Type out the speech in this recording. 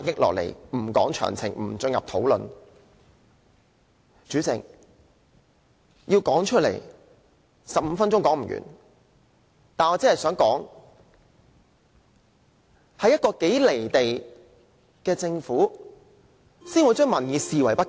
代理主席，要把這些一一道來 ，15 分鐘也說不完，但我只想指出，只有一個如此"離地"的政府才會把民意視而不見。